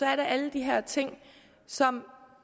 alle de her ting som